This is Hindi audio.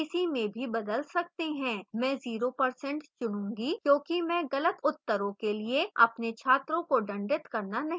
मैं 0% चुनूंगी क्योंकि मैं गलत उत्तरों के लिए अपने छात्रों को दंडित करना नहीं चाहती